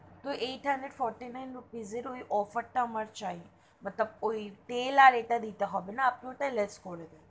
তো যেখানে fourty-nine rupees এর ওই offer তা আমার চাই, তেল আর ওটা দিতে হবে না আপনি ওটা less করে দিন।